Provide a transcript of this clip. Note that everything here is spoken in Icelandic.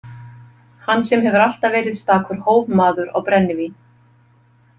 Hann sem hefur alltaf verið stakur hófmaður á brennivín.